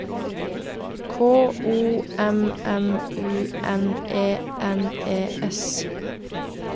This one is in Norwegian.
K O M M U N E N E S